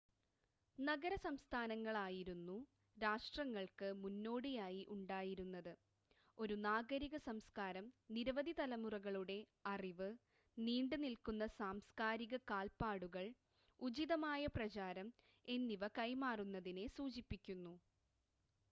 നഗര-സംസ്ഥാനങ്ങളായിരുന്നു രാഷ്ട്രങ്ങൾക്ക് മുന്നോടിയായി ഉണ്ടായിരുന്നത് ഒരു നാഗരിക സംസ്കാരം നിരവധി തലമുറകളുടെ അറിവ് നീണ്ട് നിൽക്കുന്ന സാംസ്‌കാരിക കാൽപ്പാടുകൾ ഉചിതമായ പ്രചാരണം എന്നിവ കൈമാറുന്നതിനെ സൂചിപ്പിക്കുന്നു